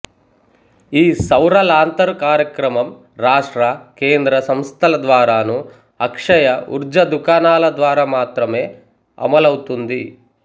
ఈ సౌర లాంతరు కార్యక్రమం రాష్ట్ర కేంద్ర సంస్థల ద్వారానూ అక్షయ ఉర్జ దుకాణాల ద్వారా మాత్రమే అమలౌతోంది